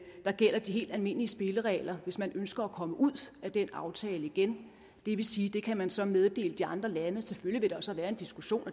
der gælder de helt almindelige spilleregler hvis man ønsker at komme ud af den aftale igen det vil sige at det kan man så meddele de andre lande selvfølgelig vil der så være en diskussion